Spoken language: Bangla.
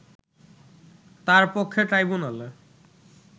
তার পক্ষে ট্রাইব্যুনালে